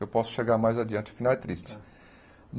Eu posso chegar mais adiante, o final é triste.